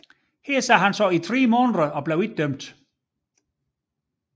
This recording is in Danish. Her sad han i tre måneder og blev ikke dømt